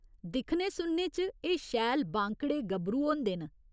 दिक्खने सुनने च एह् शैल बांकडे़ गभरू होंदे न।